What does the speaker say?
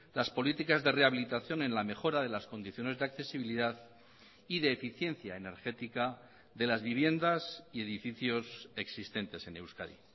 las políticas de rehabilitación en la mejora de las condiciones de accesibilidad y de eficiencia energética de las viviendas y edificios existentes en euskadi